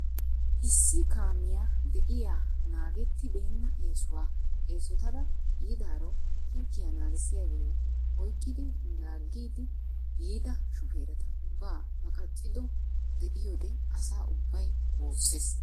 Qeeri kaamiya de'iyaa naageti beena eessuwa eessotada yiidaaro higiyaa naagissiyaage oyqqidi laagidi yiida shufereta ubba maaqqaccido de'iyoode asa ubbay woossees.